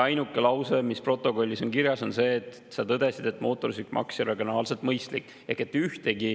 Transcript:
Ainuke lause, mis protokollis on kirjas, on see, et sa tõdesid, et mootorsõidukimaks ei ole regionaalselt mõistlik.